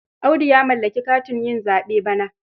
Audu ya mallaki katin yin zaɓe bana.